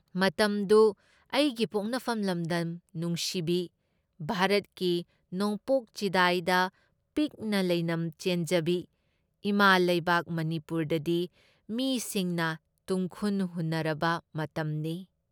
ꯃꯇꯝꯗꯨ ꯑꯩꯒꯤ ꯄꯣꯛꯅꯐꯝ ꯂꯝꯗꯝ ꯅꯨꯡꯁꯤꯕꯤ, ꯚꯥꯔꯠꯀꯤ ꯅꯣꯡꯄꯣꯛ ꯆꯤꯗꯥꯏꯗ ꯄꯤꯛꯅ ꯂꯩꯅꯝ ꯆꯦꯟꯖꯕꯤ ꯏꯃꯥ ꯂꯩꯕꯥꯛ ꯃꯅꯤꯄꯨꯔꯗꯗꯤ ꯃꯤꯁꯤꯡꯅ ꯇꯨꯝꯈꯨꯟ ꯍꯨꯟꯅꯔꯕ ꯃꯇꯝꯅꯤ ꯫